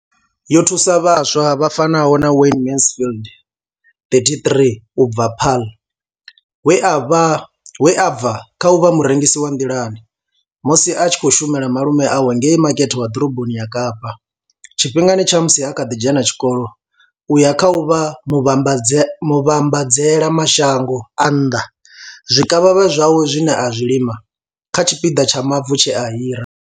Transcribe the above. Yo thusa vhaswa vha fanaho na Wayne Mansfield 33 u bva Paarl, we a bva kha u vha murengisi wa nḓilani musi a tshi khou shumela malume awe ngei makete wa ḓoroboni ya Kapa tshifhingani tsha musi a kha ḓi dzhena tshikolo u ya kha u vha muvhambadzela mashango a nnḓa zwikavhavhe zwawe zwine a zwi lima kha tshipiḓa tsha mavu tshe a hira.